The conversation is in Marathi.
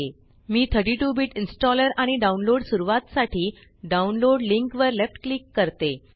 मी 32 बिट इन्स्टॉलर आणि डाउनलोड सुरवातसाठी डाउनलोड लिंक वर लेफ्ट क्लिक करते